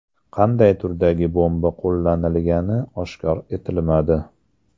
Qanday turdagi bomba qo‘llanilgani oshkor etilmadi.